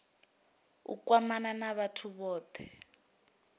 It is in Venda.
u kwamana na vhathu vhothe